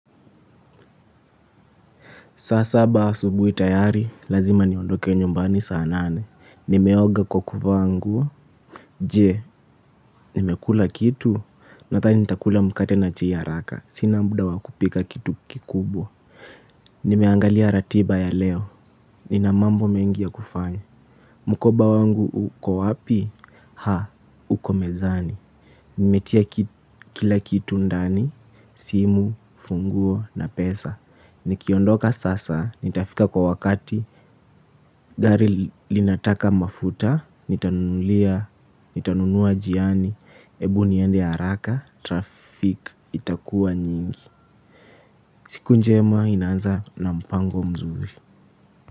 Saa saba asubui tayari, lazima niondoke nyumbani saanane. Nimeoga kwa kuvaa nguo. Je, nimekula kitu. Nathani nitakula mkate na chai ha raka. Sina mda wakupika kitu kikubwa. Nimeangalia ratiba ya leo. Ninamambo mengi ya kufanya. Mkoba wangu uko wapi? Ha, uko mezani. Nimetia kila kitu ndani, simu, funguo na pesa. Nikiondoka sasa, nitafika kwa wakati, gari linataka mafuta, nitanunua jiani, ebu niende haraka, trafik itakua nyingi. Siku njema inaaza na mpango mzuri.